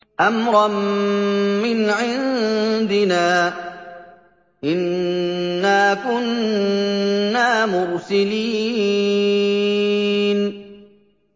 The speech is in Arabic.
أَمْرًا مِّنْ عِندِنَا ۚ إِنَّا كُنَّا مُرْسِلِينَ